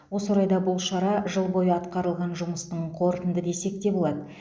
осы орайда бұл шара жыл бойы атқарылған жұмыстың қорытынды десек те болады